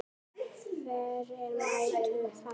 Hver er mættur þar?